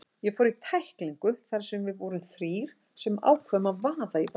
Ég fór í tæklingu þar sem við vorum þrír sem ákváðum að vaða í boltann.